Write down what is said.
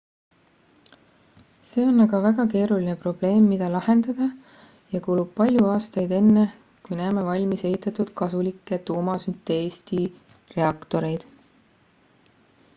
see on aga väga keeruline probleem mida lahendada ja kulub palju aastaid enne kui näeme valmis ehitatud kasulikke tuumasünteesti reaktoreid